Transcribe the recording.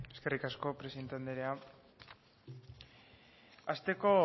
eskerrik asko presidente anderea hasteko